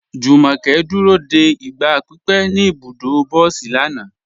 Jùmọ́kẹ́ dúró dé igba pípẹ̀ ní ibùdọ̀ bọ̀sí lànà.